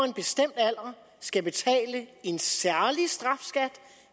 en bestemt alder skal betale en særlig strafskat